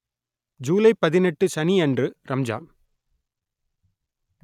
ஜூலை பதினெட்டு சனி அன்று ரம்ஜான்